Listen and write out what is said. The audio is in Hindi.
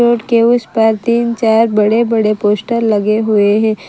उसके उस पार तीन चार बड़े बड़े पोस्टर लगे हुए हैं।